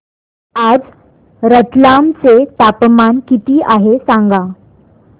आज रतलाम चे तापमान किती आहे सांगा